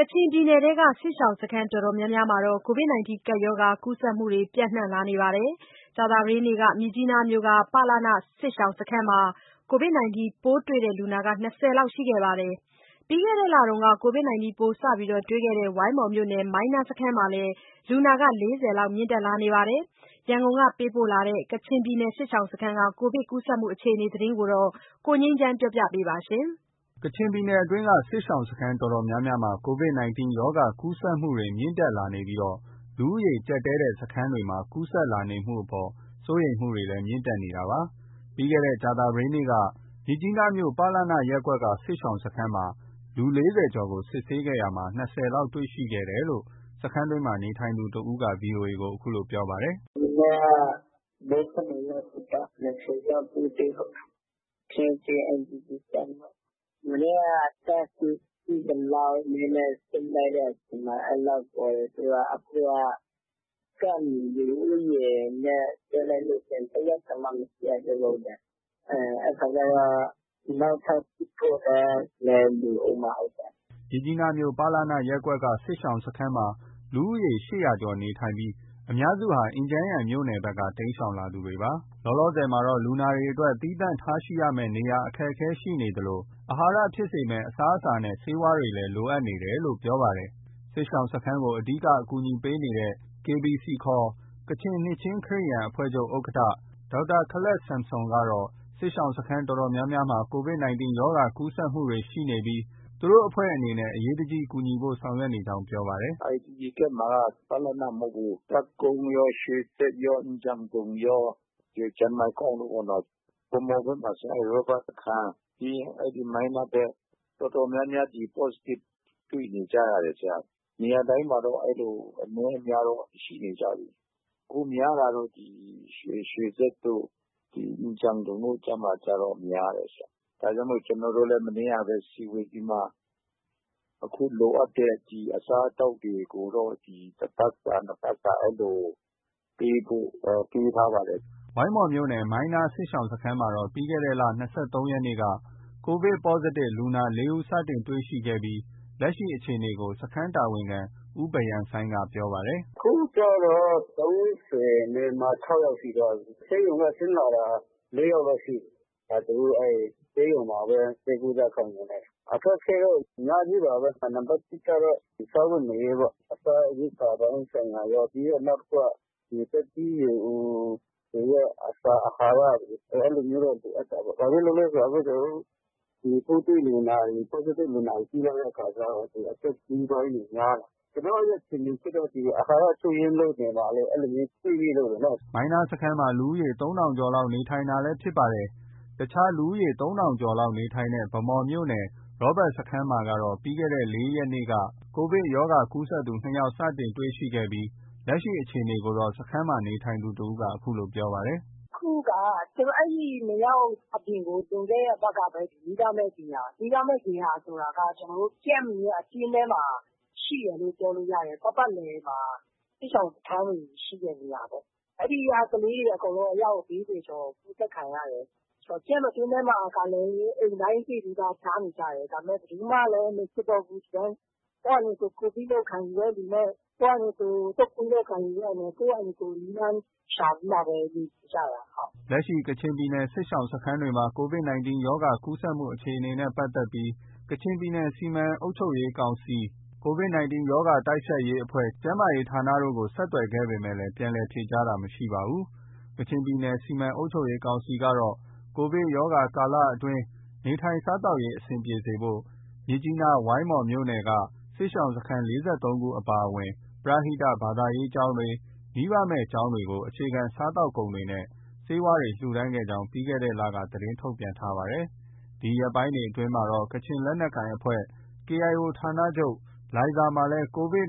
ကချင်ပြည်နယ်အတွင်းက စစ်ရှောင်စခန်းအတော်များများမှာ Covid 19 ကူးစက် မှုတွေ ပြန့်နှံလာနေပြီး ကြာသပတေးနေ့က မြစ်ကြီးနားမြို့က ပလန စစ်ရှောင်စခန်းမှာ Covid 19 ပိုးတွေ့လူနာ ၂၀ လောက် တွေ့ရှိခဲ့ပါတယ်။ ပြီးခဲ့တဲ့လက Covid 19 ပိုးစတင် တွေ့ခဲ့တဲ့ ဝိုင်းမော်မြို့နယ် မိုင်းနားစခန်းမှာလည်း လူနာ ၄၀ လောက် မြင့်တက်လာနေပါတယ်။ ရန်ကုန်က ပေးပို့လာတဲ့ ကချင်ပြည်နယ် စစ်ရှောင်စခန်းတွေက Covid ကူးစက်မှုအခြေအနေသတင်းကို ကိုငြိမ်းချမ်းက တင်ပြထားပါတယ်။ ကချင်ပြည်နယ်အတွင်းက စစ်ရှောင်စခန်းအတော်များများမှာ Covid 19 ကူးစက်မှု တွေ မြင့်တက်လာနေပြီး လူဦးရေကြပ်တည်းတဲ့စခန်းတွေမှာ ကူးစက်လာနေမှုအပေါ်မှာ စိုးရိမ်မှုတွေ မြင့်တက်နေတာပါ။ ပြီးခဲ့တဲ့ ကြာသာပတေးနေ့က မြစ်ကြီးနားမြို့ ပလန ရပ်ကွက်က စစ်ရှောင်စခန်းမှာလူ ၄၀ ကျော်ကို စစ်ဆေးရာမှာ ၂၀ ဦးလောက် တွေ့ရှိခဲ့တယ်လို့ စခန်းတွင်းမှာ နေထိုင်သူတဦးက VOA ကို အခုလို ပြောပါတယ်။ “မနေ့က ၄၂ ယောက်စစ်တာ။ အယောက် ၂၀ တွေ့တာ ဟုတ်တယ်။ Trinity IDP Camp ပေါ့။ မနေ့က Test Kit ရှိသလောက်နဲ့ စစ်လိုက်တဲ့အခါ အဲလောက်ပေါ်တယ်ဆိုတော့ အခုက Camp လူဦးရေနဲ့ တွက်လိုက်လို့ ရှိရင် တရက်တောင်မှ မစစ်ရသေးဘူး။ အဲဒီအခါကျတော့ နောက်ထပ် စစ်ဖို့လည်း လိုအုံးမှာ ဟုတ်တယ်။” မြစ်ကြီးနားမြို့၊ ပလနရပ်ကွက်က စစ်ရှောင်စခန်းမှာ လူဦးရေ ၈၀၀ ကျော်နေထိုင်နေပြီး အများစုဟာ အင်ဂျန်ယန်မြို့နယ်ဘက်က တိမ်းရှောင်လာသူတွေဖြစ်ပါတယ်။ လောလောဆယ်မှာ လူနာတွေအတွက် သီးသန့်ထားရှိရမယ့် နေရာ အခက်အခဲရှိနေသလို အာဟာရ ဖြစ်စေမယ့်အစားအစာနဲ့ ဆေးဝါးတွေလည်း လိုအပ်နေတယ်လို့ ပြောပါတယ်။ စစ်ရှောင်စခန်းကို အဓိက အကူအညီပေးနေတဲ့ KBC ခေါ် ကချင်နှစ်ခြင်းခရစ်ယာန်အဖွဲ့ချုပ် ဥက္ကဋ္ဌ ဒေါက်တာ ခလပ်ဆမ်ဆွန်ကတော့ စစ်ရှောင်စခန်းအတော်များများမှာ Covid 19 ကူးစက်မှုတွေ ရှိနေပြီး သူတို့ အဖွဲ့အနေနဲ့ အရေးတကြီး ကူညီဖို့ ဆောင်ရွက်နေကြောင်း ပြောပါတယ်။ “IDP Camp မှာက ပလန မဟုတ်ဘူး။ တပ်ကုန်းရော၊ ရွှေစက်ရော၊ အင်ဂျန်ဒုံရော၊ ဒီ ဂျမိုင်ကောင်တို့ ရောပေါ့။ ဗန်းမော်ဘက်မှာဆို ရောဘတ်စခန်း၊ ပြီးရင် မိုင်းနားဘက် တော်တော်များများ ဒီ Positive ဖြစ်နေကြတယ်။ နေရာတိုင်းမှာတော့ အဲဒီ အနည်းအများတော့ ရှိနေကြပြီ။ အခုများတာတော့ ဒီ ရွှေစက်တို့၊ အင်ဂျန်ဒုံတို့ကျတော့ များတယ်။ ဒါကြောင့်မို့ ကျနော်တို့လည်း မနေ့ကပဲ စည်းဝေးပြီးမှ အခု လိုအပ်တဲ့ အစားအသောက်တွေကိုတော့ တပတ်စာ၊ နှစ်ပတ်စာ အဲလို ပေးဖို့ တွေးထားပါတယ်။” ဝိုင်းမော်မြို့နယ် မိုင်းနား စစ်ရှောင်စခန်းမှတော့ ပြီးခဲ့တဲ့လ ၂၃ ရက်နေ့က Positive လူနာ ၄ ဦးစတင်တွေ့ရှိပြီး လက်ရှိ အခြေအနေကို စခန်းတာဝန်ခံ ဦးဘရန်ဆိုင်းက ပြောပါတယ်။ “ခုကျတော့ ၃၆ ယောက်ရှိသွားပြီ။ ဆေးရုံက ဆင်းလာတာ ၄ ယောက်တော့ ရှိပြီ။ သူတို့အဲဒီ ဆေးရုံမှာပဲ ဆေးကုသခံယူနေတယ်။ အခက်အခဲတော့ အများကြီးပါပဲ နံပါတ် ၁ ကတော့ စားဝတ်နေရေးပေါ့။ စားရေရိက္ခာပိုင်းဆိုင်ရာပဲ။ နောက်တခုက သက်ကြီးရွယ်အိုတွေရဲ့ အစာအာဟာရတွေ အဲလိုမျိုးတော့ လိုအပ်တာပေါ့။ ဘာဖြစ်လို့လဲဆိုတော့ အခုကျနော်တို့ ပိုးတွေ့လူနာတွေ Positive လူနာတွေ ကြည့်လိုက်တဲ့အခါကျတော့ အသက်ကြီးပိုင်းတွေများတယ်။ ကျနော့ရဲ့ ထင်မြင်ချက်တော့ အာဟာရ ချို့ယွင်းလို့ နေမှာလို့ အဲလိုမျိုး တွေးမိလို့လေနော။” မိုင်းနားစခန်းမှာ လူဦးရေ ၃,၀၀၀ ကျော်လောက် နေထိုင်နေတာလည်း ဖြစ်ပါတယ်။ အခြား လူဦးရေ ၃,၀၀၀ ကျော်လောက် နေထိုင်တဲ့ ဗန်းမော်မြို့နယ် ရောဘတ်စခန်းမှာကတော့ ပြီးခဲ့တဲ့လ ၄ ရက်နေ့က Covid ကူးစက်သူ ၂ ယောက် စတင်တွေ့ရှိခဲ့ပြီး လက်ရှိ အခြေအနေကိုတော့ စခန်းမှာ နေထိုင်သူတဦးက အခုလို ပြောပါတယ်။ “အခုက အဲဒီ ၂ ယောက် အပြင်ကို လွန်ခဲ့တဲ့အပတ်ကပဲ မိဘမဲ့ဂေဟာ၊ မိဘမဲ့ဂေဟာဆိုတာက ကျနော်တို့ Camp ရဲ့ အတွင်းထဲမှာ ရှိတယ်လို့ ပြောလို့ ရတယ်။ ပတ်ပတ်လည်မှာ စစ်ရှောင်စခန်းတွေ ရှိတဲ့နေရာပေါ့။ အဲဒီက ကလေးတွေအကုန်လုံး အယောက် ၄၀ ကျော်လောက် ကူးစက်ခံရတယ်။ Camp အတွင်းထဲမှာကလည်း အိမ်တိုင်းစေ့နီးပါး ဖျားနေကြတယ်။ ဒါပေမဲ့ ဘယ်သူမှလည်း မစစ်တော့ဘူး။ ဒီတိုင်း ကိုယ့်ဟာနဲ့ကိုယ် Covid လို့ ခံယူတဲ့သူနဲ့ ကိုယ်ဟာနဲ့ကိုယ် တုပ်ကွေးလို့ ခံယူတဲ့သူနဲ့ ကိုယ်ဟာနဲ့ကိုယ် နည်းလမ်းရှာပြီးမှပဲနေ နေကြတာ။” လက်ရှိ ကချင်ပြည်နယ် စစ်ရှောင်စခန်းတွေမှာ Covid 19 ကူးစက်မှုအခြေအနေနဲ့ ပတ်သက်ပြီး ကချင်ပြည်နယ် စီမံအုပ်ချုပ်ရေးကောင်စီ၊ Covid 19 တိုက်ဖျက်ရေးအဖွဲ့၊ ကျန်းမာရေး ဌာနတို့ကို ဆက်သွယ်ခဲ့ပေမဲ့ ပြန်လည် ဖြေကြားတာ မရှိပါဘူး။ ကချင်ပြည်နယ်စီမံအုပ်ချုပ်ရေးကောင်စီကတော့ ကိုဗစ်ကာလအတွင်း နေထိုင်စားသောက်ရေးအဆင်ပြေစေဖို့ မြစ်ကြီးနား၊ ဝိုင်းမော်မြို့နယ်က စစ်ရှောင်စခန်း ၄၃ ခု အပါအဝင်ပရဟိတ ဘာသာရေးကျောင်းတွေ၊ မိဘမဲ့ ကျောင်းတွေကိုအခြေခံ စားသောက်ကုန်နဲ့ ဆေးဝါးတွေ လှူဒါန်းခဲ့ကြောင်း ပြီးခဲ့တဲ့လက သတင်းထုတ်ပြန်ထားပါတယ်။ ဒီရက်ပိုင်းတွေအတွင်းမှာတော့ ကချင် လက်နက်ကိုင်အဖွဲ့ KIO ဌာနချုပ် လိုင်ဇာမြို့မှာလည်း Covid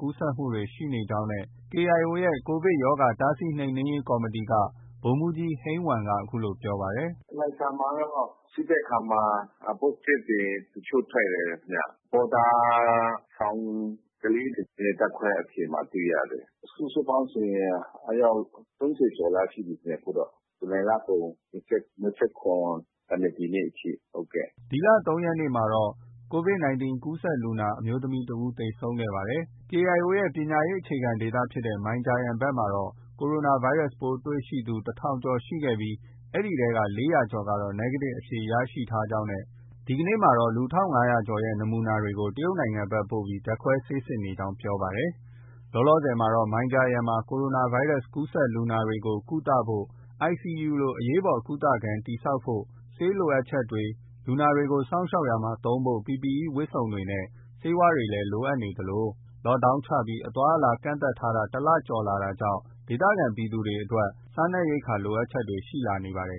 ကူးစက်မှုတွေ ရှိနေကြောင်း KIO ရဲ့ Covid ရောဂါ တားဆီးနှိမ် နင်းရေး ကော်မတီ က ဗိုလ်မှူးကြီး ဟိန်းဝမ်က အခုလို ပြောပါတယ်။ “လိုင်ဇာမှာတော့ စစ်တဲ့အခါမှာ Positive တွေ တချို့ ထွက်တယ်ခင်ဗျ။ ဘော်ဒါဆောင်ကလေးတွေရဲ့ ဓါတ်ခွဲအဖြေမှာ တွေ့ရတယ်။ စုစုပေါင်းဆိုရင် အယောက် ၃၀ ကျော်လောက်ရှိပြီထင်တယ် အခုတော့။ ဇူလိုင်လကုန် ၂၇ ကနေ ဒီနေ့ အထိ။” ဒီလ ၃ ရက်နေ့ကတော့ ကူးစက်လူနာ အမျိုးသမီးတဦး သေဆုံးခဲ့ပါတယ်။ KIO ရဲ့ ပညာရေး အခြေခံဒေသဖြစ်တဲ့ မိုင်ဂျာယန်ဘက်မှာတော့ Covid ပိုးတွေ့သူ တထောင်ကျော်ရှိခဲ့ပြီး အဲဒီထဲက ၄၀၀ ကျော်ကတော့ Negative အဖြေ ရရှိထားကြောင်းနဲ့ဒီကနေ့မှာတော့ လူ ၁,၅၀၀ ကျော်ကို တရုတ်နိုင်ငံဘက်ပို့ပြီးဓါတ်ခွဲစစ်ဆေးနေကြောင်း ပြောပါတယ်။ လောလောဆယ်မှာတော့ မိုင်ဂျာယန်မှာ Covid ကူးစက်လူနာတွေကို ကုသဖို့ ICU လို အရေးပေါ်ကုသခန်းတည်ဆောက်ဖို့ ဆေးပစ္စည်းလိုအပ်ချက်တွေ၊ လူနာတွေကို စောင့်ရှောက်ရာမှာ သုံးဖို့ PPE ဝတ်စုံနဲ့ ဆေးဝါးတွေလည်း လိုအပ်နေသလိုLock down ချပြီး အသွားအလာ ကန့်သတ်ထားတာ တလကျော်လာတာကြောင့် ဒေသခံပြည်သူတွေ စားနပ်ရိက္ခာအတွက် လိုအပ်ချက်တွေ ရှိလာနေပါတယ်